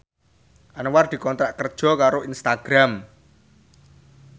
Anwar dikontrak kerja karo Instagram